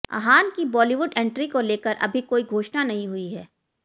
अहान की बॉलीवुड एंट्री को लेकर अभी कोई घोषणा नहीं हुई है